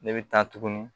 Ne bɛ taa tuguni